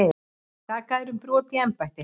Sakaðir um brot í embætti